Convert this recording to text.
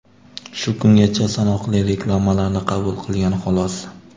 Shu kungacha sanoqli reklamalarni qabul qilgan xolos.